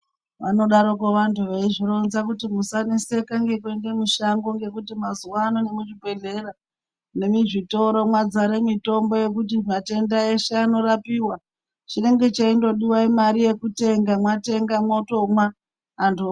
Vanodarikwo vantu veizvironza kuti musaneseke ngekuende mushango ngekuti mazuwa ano muzvibhedhlera nemuzvitoro mwadzare mitombo yekuti matenda eshe anorapiwa chinenge cheindodiwa imare yekutenga mwatenga mwotomwa antu.